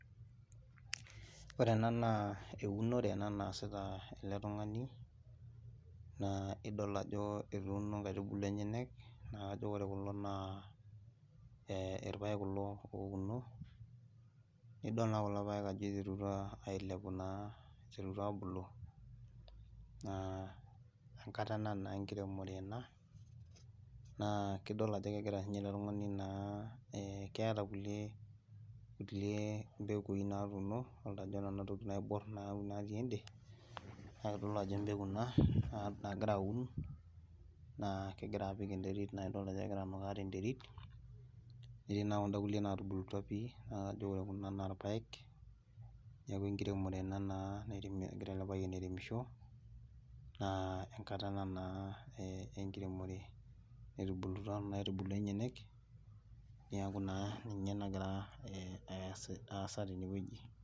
Ore ena naa eunore ena naasita ele tung'ani, na idol ajo etuuno nkaitubulu enyenak, naaduo ore kulo naa irpaek kulo ouno, nidol naa kulo paek ajo iterutua ailepu naa, iterutua aabulu, naa enkata ena naa enkiremore ena, naa kidol ajo kegira si ninye ele tungani naa. kidol ajo keeta kulie, kulie pekui natuuno. idol ajo ore nena tokitin naibor, natii ede, naa kitodolu ajo empeku ina nagira aun, naa kegira apik enterit, naa idol ajo kegira anukaa tenterit, netii na kuda kulie naatubuutua pii, najo ore kuna naa irpaek, neeku enkiremore ena naa egira ele payian airemisho. naa enkata ena naa ee enkiremore, naitubulutua, naa etubulutua enyenek, neeku naa ninye nagira aasa tene wueji.